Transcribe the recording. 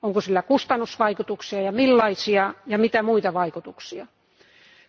Onko sillä kustannusvaikutuksia ja millaisia, ja mitä muita vaikutuksia sillä on?